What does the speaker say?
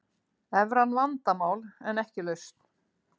Evran vandamál en ekki lausn